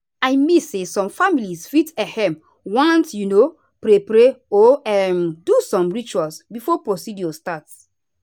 i mean say some families fit ehm want um pray pray or um do some rituals before procedure start.